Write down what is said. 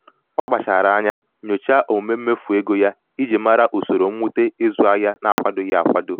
ọ kpachara anya nyochaa omume mmefu ego ya iji mara usoro mwute ịzụ ahịa na-akwadoghị akwado.